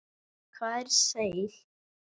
Hvað er seil?